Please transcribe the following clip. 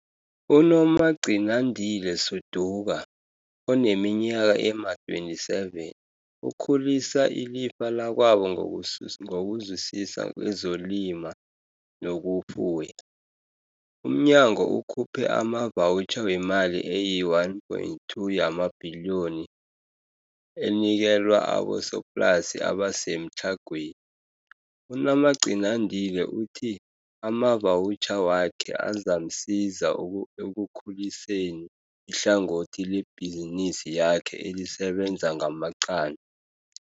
UNomagcinandile Suduka, oneminyaka ema-27, ukhulisa ilifa lakwabo ngokusisisa kezokulima nokufuya. Umnyango ukhuphe amavawutjha wemali eyi-R1.2 yamabhiliyoni enikelwa abosoplasi abasemtlhagweni. UNomagcinandile uthi amavawutjha wakhe azamsiza ekukhuliseni ihlangothi lebhizinisi yakhe elisebenza ngamaqanda.